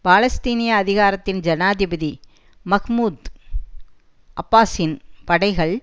பாலஸ்தீனிய அதிகாரத்தின் ஜனாதிபதி மஹ்மூத் அப்பாசின் படைகள்